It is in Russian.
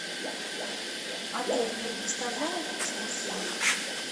отель предоставляет экскурсии